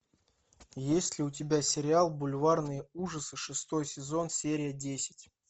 есть ли у тебя сериал бульварные ужасы шестой сезон серия десять